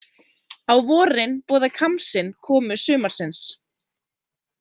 Á vorin boða khamsin komu sumarsins.